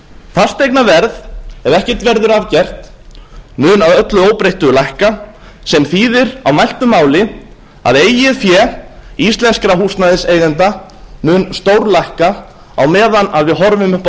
fasteignaverð ef ekkert verður að gert mun að öllu óbreyttu lækka sem þýðir á mæltu máli að eigið fé íslenskra húsnæðiseigenda mun stórlækka á meðan við horfum upp á